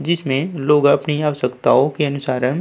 जिसमें लोग अपनी आवश्यकताओं के अनुसारम् --